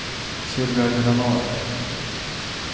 Sylvia Granath